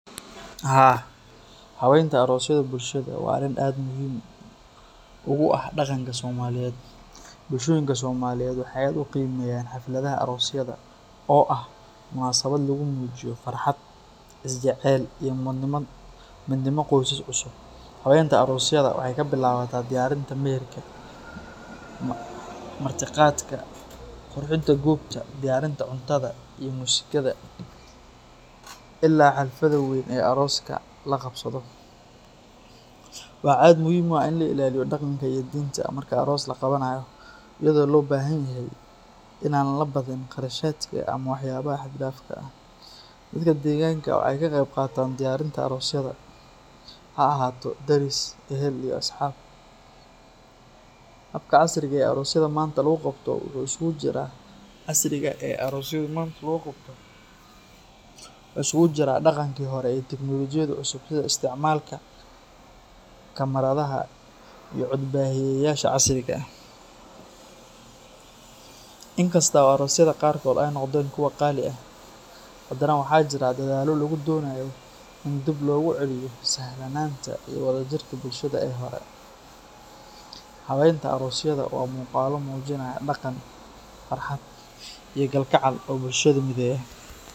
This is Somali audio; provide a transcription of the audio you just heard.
Haa, habeynta aroosyada bulshada waa arrin aad muhiim ugu ah dhaqanka Soomaaliyeed. Bulshooyinka Soomaaliyeed waxay aad u qiimeeyaan xafladaha aroosyada oo ah munaasabad lagu muujiyo farxad, isjecel, iyo midnimo qoysas cusub. Habeynta aroosyada waxay ka bilaabataa diyaarinta meherka, martiqaadka, qurxinta goobta, diyaarinta cuntada iyo muusikada, ilaa xafladda weyn ee arooska la qabsado. Waxaa aad muhiim u ah in la ilaaliyo dhaqanka iyo diinta marka aroos la qabanayo, iyadoo loo baahan yahay in aan la badin kharashaadka ama waxyaabaha xad-dhaafka ah. Dadka deegaanka waxay ka qeyb qaataan diyaarinta aroosyada, ha ahaato deris, ehel, iyo asxaab. Habka casriga ah ee aroosyada maanta lagu qabto wuxuu isugu jiraa dhaqankii hore iyo tignoolajiyada cusub sida isticmaalka kamaradaha iyo cod-baahiyeyaasha casriga ah. Inkasta oo aroosyada qaarkood ay noqdeen kuwo qaali ah, haddana waxaa jira dadaallo lagu doonayo in dib loogu celiyo sahlanaanta iyo wadajirka bulshada ee hore. Habeynta aroosyada waa muuqaallo muujinaya dhaqan, farxad, iyo kalgacal oo bulshada mideeya.